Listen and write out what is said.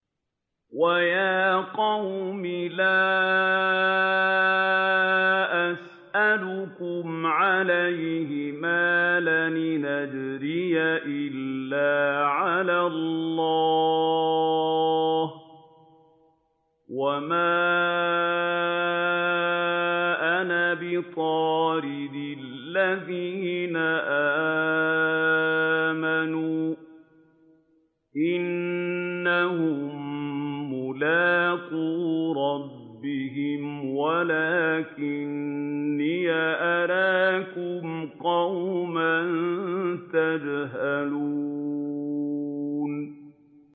وَيَا قَوْمِ لَا أَسْأَلُكُمْ عَلَيْهِ مَالًا ۖ إِنْ أَجْرِيَ إِلَّا عَلَى اللَّهِ ۚ وَمَا أَنَا بِطَارِدِ الَّذِينَ آمَنُوا ۚ إِنَّهُم مُّلَاقُو رَبِّهِمْ وَلَٰكِنِّي أَرَاكُمْ قَوْمًا تَجْهَلُونَ